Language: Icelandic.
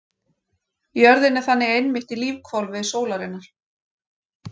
Jörðin er þannig einmitt í lífhvolfi sólarinnar.